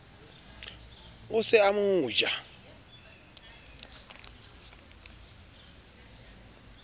o se o mo ja